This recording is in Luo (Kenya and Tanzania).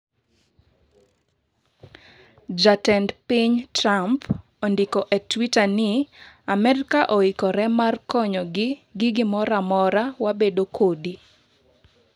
"Jatend piny Trump ondiko e twata ni: ""Amerika oikre mar konyo gi gimoro amora ma wabedo kodi."""